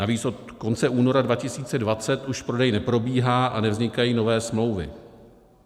Navíc od konce února 2020 už prodej neprobíhá a nevznikají nové smlouvy.